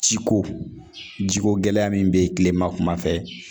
Ciko jiko gɛlɛya min bɛ yen tilema kuma fɛ